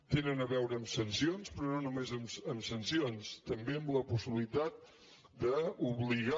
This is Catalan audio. tenen a veure amb sancions però no només amb sancions també amb la possibilitat d’obligar